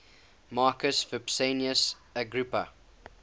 marcus vipsanius agrippa